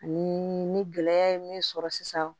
Ani ni gɛlɛya ye min sɔrɔ sisan